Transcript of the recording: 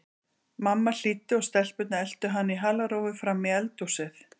Mamma hlýddi og stelpurnar eltu hana í halarófu fram í eldhúsið.